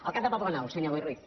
el cap de poblenou senyor boi ruiz